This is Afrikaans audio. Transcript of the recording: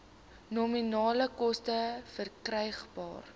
nominale koste verkrygbaar